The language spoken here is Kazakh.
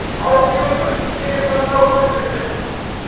аукционды біз кеңес заманында аукцион деп келдік